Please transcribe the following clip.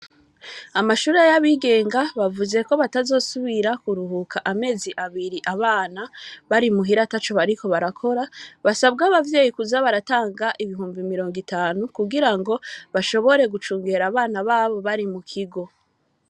Amashure y'abigenga, bavuze ko batazosubira kuruhuka amezi abiri abana, bari muhira ataco bariko barakora, basabwa abavyeyi kuza baratanga ibihumbi mirongo itanu, kugira ngo bashobore gucungera abana babo bari mu kigo.